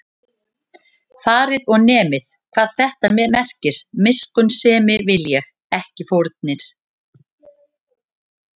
Farið og nemið, hvað þetta merkir: Miskunnsemi vil ég, ekki fórnir